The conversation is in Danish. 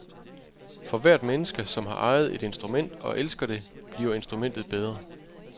For hvert menneske, som har ejet et instrument og elsket det, bliver instrumentet bedre.